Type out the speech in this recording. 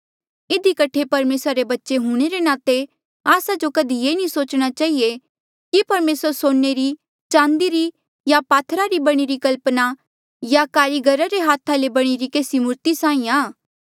इधी कठे परमेसरा रे बच्चे हूंणे रे नाते आस्सा जो कधी ये सोचणा नी चहिए कि परमेसर सोने री चांदी री या पात्थरा री बणीरी कल्पना या कारीगरा रे हाथा ले बणीरी केसी मूर्ति साहीं आ